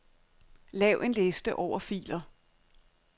Lav en liste over filer.